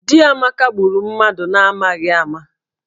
Di Amaka gburu mmadụ n'amaghị ama